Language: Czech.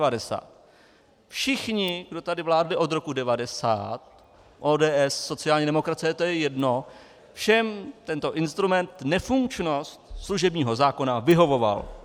Všichni, kdo tady vládli od roku 1990, ODS, sociální demokracie, to je jedno, všem tento instrument nefunkčnost služebního zákona nevyhovoval .